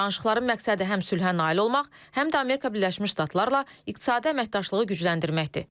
Danışıqların məqsədi həm sülhə nail olmaq, həm də Amerika Birləşmiş Ştatlarla iqtisadi əməkdaşlığı gücləndirməkdir.